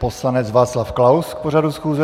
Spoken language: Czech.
Poslanec Václav Klaus k pořadu schůze.